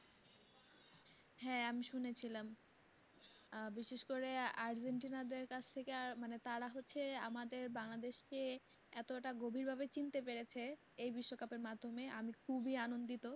হ্যাঁ আমি শুনেছিলাম বিশেষ করে argentina দেড় কাছ থেকে তারা হচ্ছে আমাদের বাংলাদেশকে এতটা গভীর ভাবে চিনতে পেরেছে এই বিশ্বকাপের মাধ্যমে আমি খুবই আনন্দিত